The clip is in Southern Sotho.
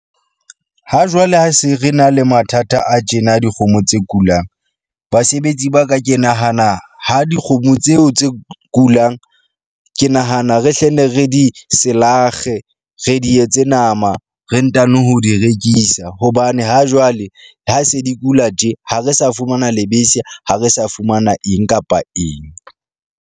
Hajwale ha se re na le mathata a tjena dikgomo tse kulang, basebetsi ba ka ke nahana ha dikgomo tseo tse kulang. Ke nahana re hle ne re di selakge. Re di etse nama, re ntano ho di rekisa hobane ha jwale ha se di kula tje, ha re sa fumana lebese, ha re sa fumana eng kapa eng.